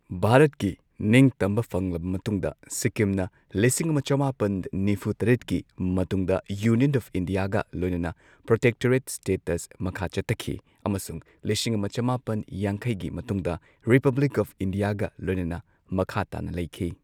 ꯚꯥꯔꯠꯀꯤ ꯅꯤꯡꯇꯝꯕ ꯐꯪꯂꯕ ꯃꯇꯨꯡꯗ ꯁꯤꯛꯀꯤꯝꯅ ꯂꯤꯁꯤꯡ ꯑꯃ ꯆꯃꯥꯄꯟ ꯅꯤꯐꯨ ꯇꯔꯦꯠꯀꯤ ꯃꯇꯨꯡꯗ ꯌꯨꯅꯤꯌꯟ ꯑꯣꯐ ꯏꯟꯗꯤꯌꯥꯒ ꯂꯣꯏꯅꯅ ꯄ꯭ꯔꯣꯇꯦꯛꯇꯣꯔꯦꯠ ꯁ꯭ꯇꯦꯇꯁ ꯃꯈꯥ ꯆꯠꯊꯈꯤ, ꯑꯃꯁꯨꯡ ꯂꯤꯁꯤꯡ ꯑꯃ ꯆꯃꯥꯄꯟ ꯌꯥꯡꯈꯩꯒꯤ ꯃꯇꯨꯡꯗ ꯔꯤꯄꯕ꯭ꯂꯤꯛ ꯑꯣꯐ ꯏꯟꯗꯤꯌꯥꯒ ꯂꯣꯏꯅꯅ ꯃꯈꯥ ꯇꯥꯅ ꯂꯩꯈꯤ꯫